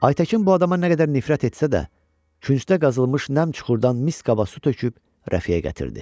Aytəkin bu adama nə qədər nifrət etsə də, küncdə qazılmış nəm çuxurdan mis qaba su töküb Rəfiyə gətirdi.